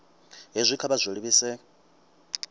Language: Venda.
hezwi kha vha zwi livhise